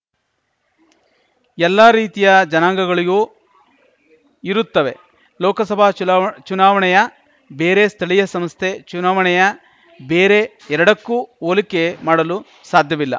ಎಲ್ಲಾ ರೀತಿಯ ಜನಾಂಗಗಳಿಗೂ ಇರುತ್ತವೆ ಲೋಕಸಭಾ ಚುನಾ ಚುನಾವಣೆಯ ಬೇರೆ ಸ್ಥಳೀಯ ಸಂಸ್ಥೆ ಚುನಾವಣೆಯ ಬೇರೆ ಎರಡಕ್ಕೂ ಹೋಲಿಕೆ ಮಾಡಲು ಸಾಧ್ಯವಿಲ್ಲ